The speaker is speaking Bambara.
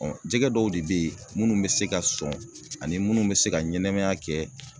jɛgɛ dɔw de bɛ ye minnu bɛ se ka sɔn ani minnu bɛ se ka ɲɛnɛmaya kɛ